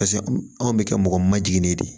Paseke anw bɛ kɛ mɔgɔ ma jiginnen de ye